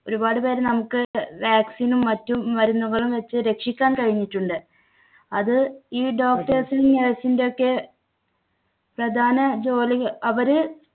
ഒരുപാട് പേരെ നമുക്ക് vaccine നും മറ്റു മരുന്നുകളും വെച്ച് രക്ഷിക്കാൻ കഴിഞ്ഞിട്ടുണ്ട്. അത് ഈ doctors ന്‍ടെ nurse ന്‍ടെയൊക്കെ പ്രധാന ജോലികൾ അവര്